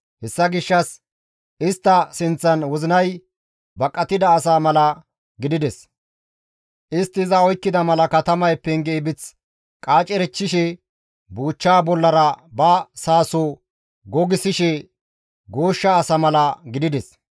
Hessa gishshas istta sinththan wozinay baqettida asa mala gidides; istti iza oykkida mala katamay penge ibith qaacereththishe buuchcha bollara ba saaso gogissishe gooshsha asa mala gidides.